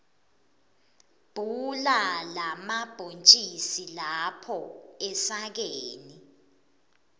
bhula lamabhontjisi lapha esakeni